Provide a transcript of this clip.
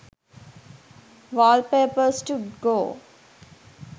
wallpapers to go